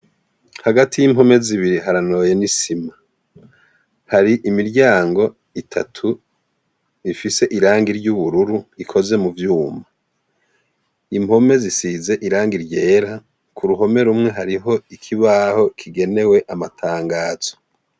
Hagati y'imkome zibiri haranoye n'isima. Hari imiryango itatu ifise irangi ry'ubururu ikoze mu vyuma. Imkome zisize irangi ryera, ku ruhome rumwe hariho ikibaho kigenewe amatangazo.